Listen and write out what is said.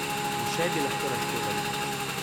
In še bi lahko naštevali.